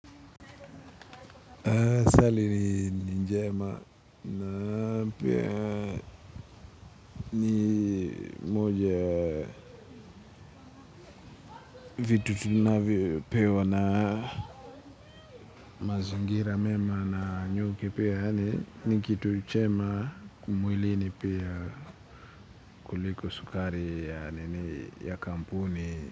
Swali ni njema na pia ni moja ya vitu tunavyo pewa na mazingira mema na nyuki pia ni kitu chema mwilini pia kuliko sukari ya nini ya kampuni.